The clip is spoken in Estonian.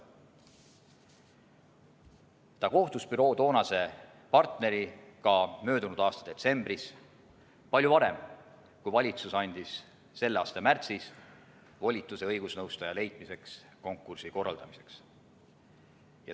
Ta kohtus büroo toonase partneriga möödunud aasta detsembris – palju aega enne seda, kui valitsus andis talle selle aasta märtsis volituse õigusnõustaja leidmiseks, konkursi korraldamiseks.